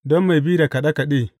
Don mai bi da kaɗe kaɗe.